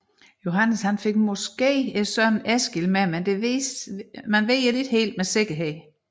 Johannes fik muligvis sønnen Eskil med det vides ikke med sikkerhed